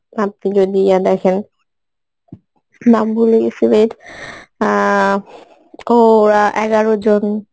দেখেন নাম ভুলে গেসি wait এর আ ও ওরা এগারোজন